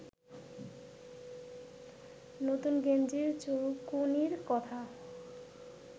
নতুন গেঞ্জির চুলকুনির কথা